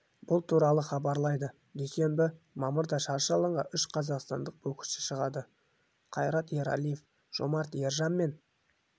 бұл туралы хабарлайды дүйсенбі мамырда шаршы алаңға үш қазақстандық боксшы шығады қайрат ералиев жомарт ержан мен